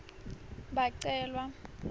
bacelwa